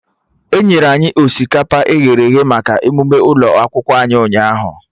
Enyere anyị osikapa eghere eghe maka emụme ụlọ akwụkwọ anyị ụnyaahụ